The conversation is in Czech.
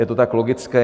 Je to tak logické.